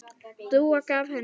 Dúa gaf henni.